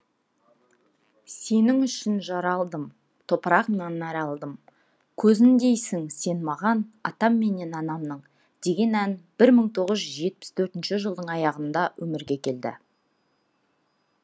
сенің үшін жаралдым топырағыңнан нәр алдым көзіндейсің сен мағанатам менен анамның деген ән бір тоғыз жүз жетпіс төртінші жылдың аяғында өмірге келді